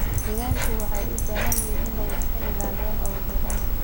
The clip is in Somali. Digaagga waxay u baahan yihiin inay iska ilaaliyaan cudurrada.